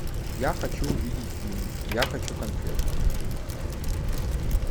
я хочу увидеть фильм я хочу конфетку